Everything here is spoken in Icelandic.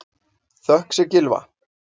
Þökk sé Gylfa